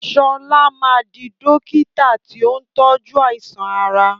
Sọlá máa di dókítà tí ó ń tojú àìsàn ara